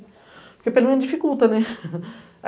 Porque, pelo menos, dificulta.